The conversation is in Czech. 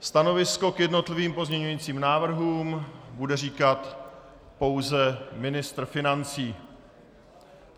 Stanovisko k jednotlivým pozměňovacím návrhům bude říkat pouze ministr financí.